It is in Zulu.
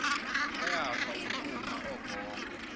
bayafa wukuma ogogo